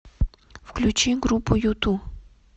включи группу юту